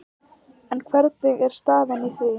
En hvernig er staðan í því?